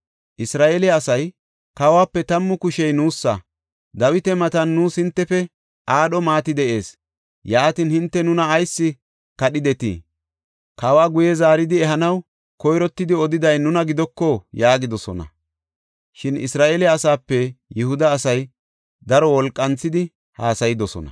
Isra7eele asay, “Kawuwape tammu kushey nuusa; Dawita matan nuus hintefe aadho maati de7ees! Yaatin, hinte nuna ayis kadhidetii? Kawa guye zaaridi ehanaw koyrottidi odiday nuna gidoko?” yaagidosona. Shin Isra7eele asaape Yihuda asay daro wolqanthidi haasayidosona.